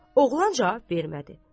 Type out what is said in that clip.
Oğlan cavab vermədi.